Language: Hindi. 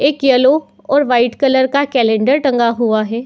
एक येलो और वाइट कलर का कैलेंडर टंगा हुआ है।